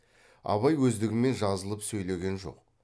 абай өздігімен жазылып сөйлеген жоқ